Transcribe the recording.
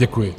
Děkuji.